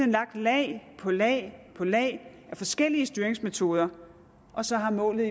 lagt lag på lag på lag af forskellige styringsmetoder og så har målet